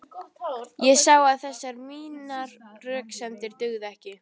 Ég sá að þessar mínar röksemdir dugðu ekki.